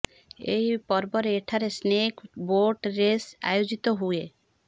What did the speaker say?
ଏହି ପର୍ବରେ ଏଠାରେ ସ୍ନେକ୍ ବୋଟ୍ ରେସ୍ ଆୟୋଜିତ ହୁଏ